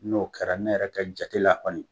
N'o kɛra ne yɛrɛ ka jatela kɔni